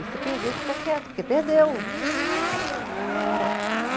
E se perder, fica quieto, porque perdeu.